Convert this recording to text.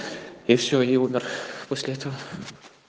и всё и умер после этого